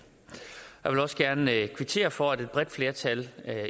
jeg vil også gerne kvittere for at et bredt flertal